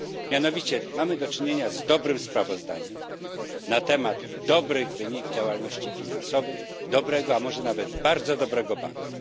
Mianowicie mamy do czynienia z dobrym sprawozdaniem na temat dobrych wyników działalności finansowej dobrego, a może nawet bardzo dobrego banku.